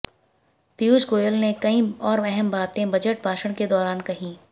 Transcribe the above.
पीयूष गोयल ने कई और अहम बातें बजट भाषण के दौरान कहीं